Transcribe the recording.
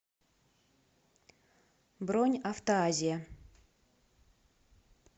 бронь автоазия